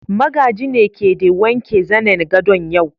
Magaji ne ke de wanke zanen gadon yau.